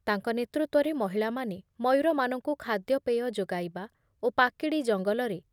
ତାଙ୍କ ନେତୃତ୍ୱରେ ମହିଳାମାନେ ମୟୂରମାନଙ୍କୁ ଖାଦ୍ୟପେୟ ଯୋଗାଇବା ଓ ପାକିଡ଼ି ଜଙ୍ଗଲରେ